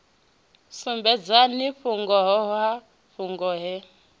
sumbedzani vhungoho ha fhungo ḽo